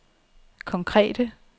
konkrete